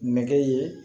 Nɛgɛ ye